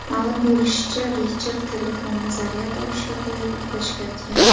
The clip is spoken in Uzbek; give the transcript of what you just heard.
Ma’lum bo‘lishicha, Richard telefonni zaryad olishga qo‘yib, uxlashga yotgan.